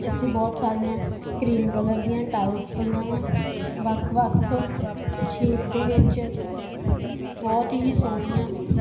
ਇੱਥੇ ਬੋਹੁਤ ਸਾਰੀਆਂ ਕਰੀਮ ਕਲਰ ਦਿਆਂ ਟਾਈਲਸ ਪਈਆਂ ਵਾਂ ਵੱਖ ਵੱਖ ਸ਼ੇਪ ਦੇ ਵਿੱਚ ਬੋਹੁਤ ਹੀ ਸੋਹਣਿਆ--